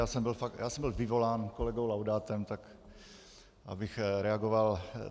Já jsem byl vyvolán kolegou Laudátem, tak abych reagoval.